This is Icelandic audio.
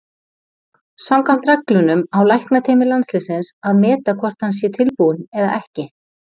Samkvæmt reglunum á læknateymi landsliðsins að meta hvort að hann sé tilbúinn eða ekki.